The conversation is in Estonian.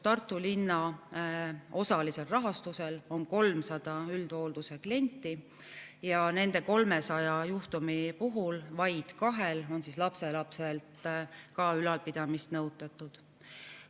Tartu linna osalisel rahastusel on 300 üldhoolduse klienti ja nende 300 juhtumi puhul vaid kahel juhul on ka lapselapselt ülalpidamist nõutatud.